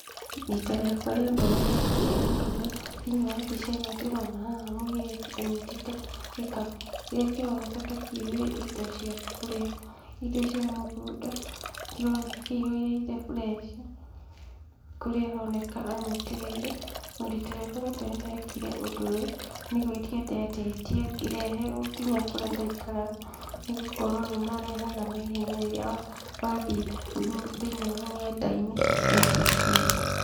Rita rĩakwa rĩa mbere ndekire ũndũ ũyũ, thĩiniĩ wa mbica ĩno ndĩrona haha mũirĩtu gĩkabu, kĩrĩa kĩroneka ta kĩihũire indo cia kũrĩa indo cia mũgũnda, kĩroneka kĩhũire indo fresh kũrĩa aroneka anyitĩrĩire, na rita rĩakwa rĩa mbere nĩ ndekire ũndũ ũyũ, nĩ gwĩtia ndetĩtie ngĩreherwo nginya kũrĩa ndaikara, nĩgũkorwo nĩ marehaga naihenya rĩrĩa wathiĩ thĩiniĩ wa nenda-inĩ wetia kĩndũ.